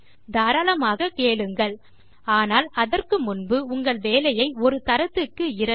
தாராளமாக கேளுங்கள் ஆனால் அதற்கு முன்பு உங்கள் வேலையை ஒரு தரத்துக்கு இரண்டு